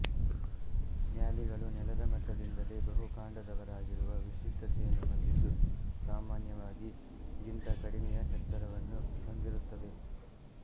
ಮ್ಯಾಲಿಗಳು ನೆಲದ ಮಟ್ಟದಿಂದಲೇ ಬಹುಕಾಂಡದವಾಗಿರುವ ವಿಶಿಷ್ಟತೆಯನ್ನು ಹೊಂದಿದ್ದು ಸಾಮಾನ್ಯವಾಗಿ ಗಿಂತ ಕಡಿಮೆಯ ಎತ್ತರವನ್ನು ಹೊಂದಿರುತ್ತವೆ